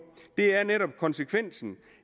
det er netop konsekvensen